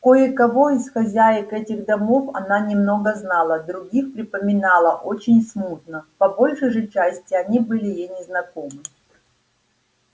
кое-кого из хозяек этих домов она немного знала других припоминала очень смутно по большей же части они были ей незнакомы